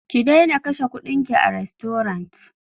Ki daina kashe kuɗinki a rastorant!